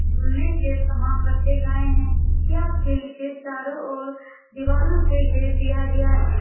झूलने के सामान रखे गई है यह फील्ड के चारो ओर दीवारों से घेर दिया गया है ।